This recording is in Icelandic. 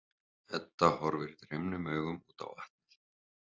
Edda horfir dreymnum augum út á vatnið.